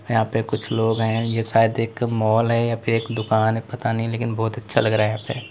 यहां पे कुछ लोग हैं यह शायद एक माल है या फिर दुकान पता नहीं लेकिन बहुत अच्छा लग रहा है।